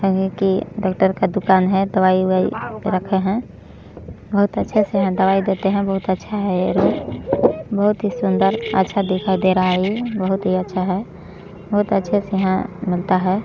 यह कि डॉक्टर का दुकान है दवाई-उवाई रखें हैं बहुत अच्छे से दवाई देते हैं बहुत अच्छा हैं यह बहुत ही सुन्दर अच्छा दिखाई दे रहा है बहुत अच्छा से यहाँ --]